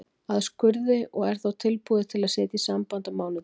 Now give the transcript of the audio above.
að skurði, og er þá tilbúið til að setja í samband á mánudag.